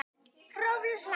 Hrólfur hlær.